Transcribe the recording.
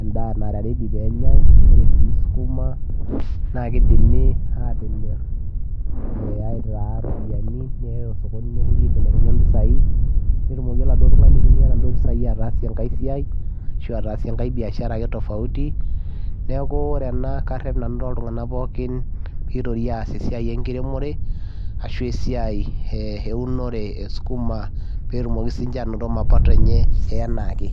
endaa nara ready penyae ore sii skuma naa kidimi atimir eh aitaa iropiyiani neyai osokoni nepuoi aibelekeny ompisai netumoki oladuo tung'ani aitumia inaduo pisai ataasie enkae siai ashu ataasie enkae biashara ake tofauti neeku ore ena karrep nanu toltung'anak pookin pitori aas esiai enkiremore ashu esiai eh eunore eskuma pee etumoki sininche anoto mapato enye e enaake.